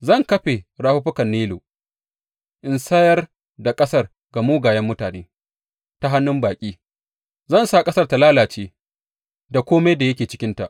Zan kafe rafuffukan Nilu in sayar da ƙasar ga mugayen mutane; ta hannun baƙi zan sa ƙasar ta lalace da kome da yake cikinta.